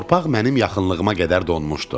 Torpaq mənim yaxınlığıma qədər donmuşdu.